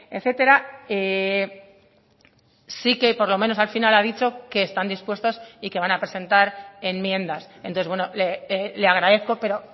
etcétera sí que por lo menos al final ha dicho que están dispuestos y que van a presentar enmiendas entonces le agradezco pero